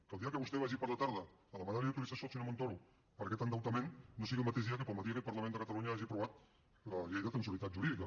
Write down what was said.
que el dia que vostè vagi per la tarda a demanar li autorització al senyor montoro per aquest endeutament no sigui el mateix dia que pel matí aquest parlament de catalunya hagi aprovat la llei de transitorietat jurídica